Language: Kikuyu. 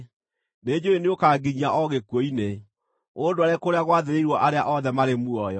Nĩnjũũĩ nĩũkanginyia o gĩkuũ-inĩ, ũndware kũrĩa gwathĩrĩirwo arĩa othe marĩ muoyo.